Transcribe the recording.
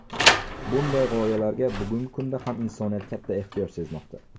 Bunday g‘oyalarga bugungi kunda ham insoniyat katta ehtiyoj sezmoqda.